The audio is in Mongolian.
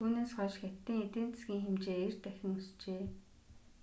түүнээс хойш хятадын эдийн засгийн хэмжээ 90 дахин өсжээ